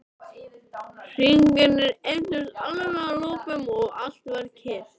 Hringirnir eyddust alveg að lokum og allt varð kyrrt.